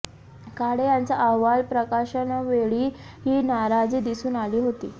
काळे यांचा अहवाल प्रकाशनावेळी ही नाराजी दिसून आली होती